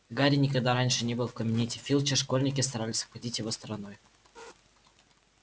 гарри никогда раньше не был в кабинете филча школьники старались обходить его стороной